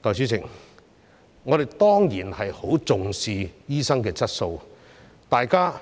代理主席，我們當然十分重視醫生的質素，大家